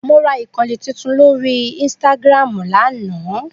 Mo ra ìkànnlé titun lánàá lórí ínsítágírámú lánàá.